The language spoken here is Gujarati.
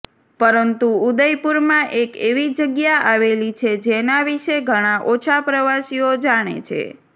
પરંતુ ઉદયપુરમાં એક એવી જગ્યા આવેલી છે જેના વિષે ઘણા ઓછા પ્રવાસીઓ જાણે છે